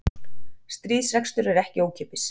Stríðsrekstur er ekki ókeypis